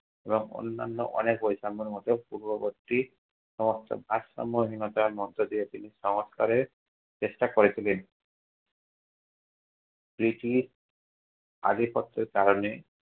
এবং অন্যান্য অনেক বৈষম্যের মতো পূর্ববর্তী সমস্ত ভারসাম্যহীনতার মধ্যে দিয়ে তিনি সংস্কারের চেষ্টা করে ছিলেন। আধিপত্যের কারণে